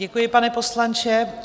Děkuji, pane poslanče.